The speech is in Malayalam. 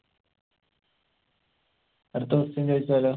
അടുത്ത question ചോയിച്ചാലോ